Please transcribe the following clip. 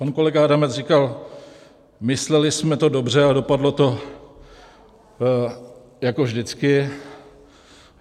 Pan kolega Adamec říkal: mysleli jsme to dobře, ale dopadlo to jako vždycky.